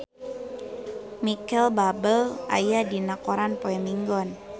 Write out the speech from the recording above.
Micheal Bubble aya dina koran poe Minggon